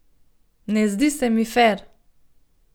Ne zdi se mi fer.